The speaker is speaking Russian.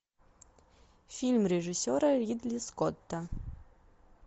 фильм режиссера ридли скотта